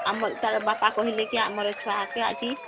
ଆମର ତାର ବାପା କହିଲେ କି ଆମର ଛୁଆ କେ ଆଜି